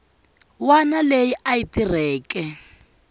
wana leyi a yi tirheke